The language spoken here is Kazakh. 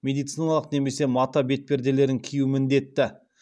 медициналық немесе мата бетперделерін кию міндетті